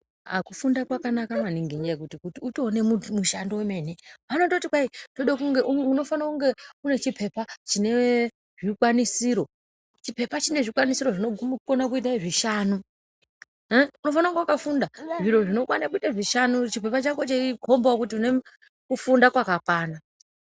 Aaaah kufunda kwanaka maningi ngekuti utoone uti mushando wemene, anototi kwai tinoda kuti unge unofanira kunge une chipepa chine zvikwanisiro. Chipepa chine zvikwanisiro zvinoguma kuita zvishanu. Unofanira kunge wakafunda zvinokwana kuitei zvishanu. Chipepa chako cheikombawo kuti unekufunda kwakakwana.